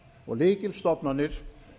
og lykilstofnanir